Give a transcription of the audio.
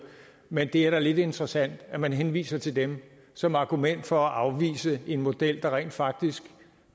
men det er da lidt interessant at man henviser til dem som argument for at afvise en model der rent faktisk